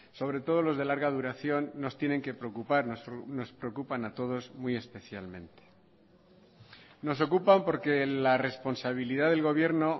sobre todo los de larga duración nos tienen que preocupar nos preocupan a todos muy especialmente nos ocupan porquela responsabilidad del gobierno